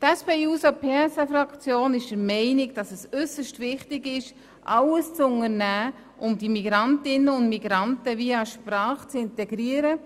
Die SPJUSO-PSA-Fraktion ist der Meinung, dass es äusserst wichtig ist, die Migrantinnen und Migranten via Sprache zu integrieren.